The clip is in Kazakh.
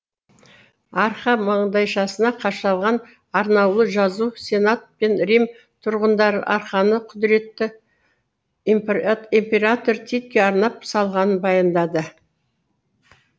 арка маңдайшасына қашалған арнаулы жазу сенат пен рим тұрғындары арканы құдіретті император титке арнап салғанын баяндады